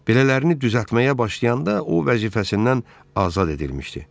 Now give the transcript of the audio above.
Belələrini düzəltməyə başlayanda o vəzifəsindən azad edilmişdi.